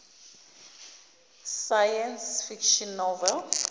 science fiction novels